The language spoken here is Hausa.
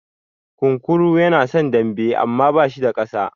Kunkuru yana son dambe amma bashi da ƙasa.